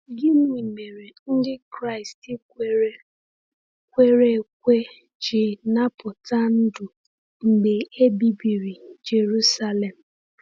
Gịnị mere Ndị Kraịst kwere kwere ekwe ji napụta ndụ mgbe e bibiri Jerusalem?